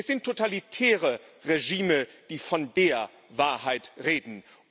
Es sind totalitäre Regime, die von der Wahrheit reden.